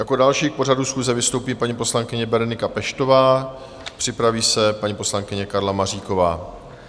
Jako další k pořadu schůze vystoupí paní poslankyně Berenika Peštová, připraví se paní poslankyně Karla Maříková.